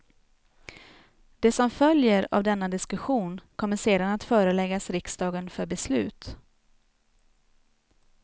Det som följer av denna diskussion kommer sedan att föreläggas riksdagen för beslut.